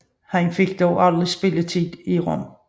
Han fik dog aldrig spilletid i Rom